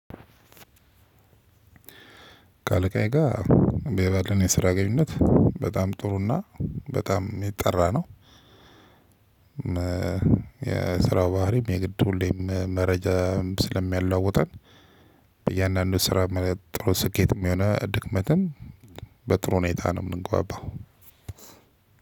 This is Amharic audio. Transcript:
ከአለቃዬ ጋር ባለን የስራ ግንኙነት በጣም ጥሩና በጣም የጠራ ነው። የስራው ባህሪም የግድ ሁሌም መረጃ ስለሚያለዋዉጠን። በእያንዳንዱ ስራ ማለት ጥሩ ስኬትም የሆነ ድክመትም። በጥሩ ሁኔታ ነው። ምንግባባው